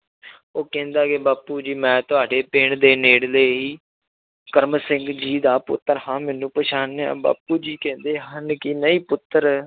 ਉਹ ਕਹਿੰਦਾ ਕਿ ਬਾਪੂ ਜੀ ਮੈਂ ਤੁਹਾਡੇ ਪਿੰਡ ਦੇ ਨੇੜਲੇ ਹੀ ਕਰਮ ਸਿੰਘ ਜੀ ਦਾ ਪੁੱਤਰ ਹਾਂ ਮੈਨੂੰ ਪਛਾਣਿਆ ਬਾਪੂ ਜੀ ਕਹਿੰਦੇ ਹਨ ਕਿ ਨਹੀਂ ਪੁੱਤਰ